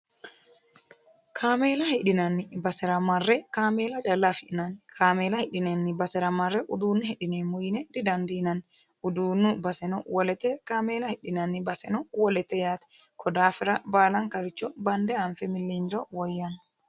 kameela hidhinanni basera marre kaameela calla afi'nanni kaameela hirranni basera marre uduunne hidhineemmo yine didandiinanni uduunnu baseno wolete kaameela hirranni baseno wolete yaate konni daafira baalankaricho bande anfiro woyyanno.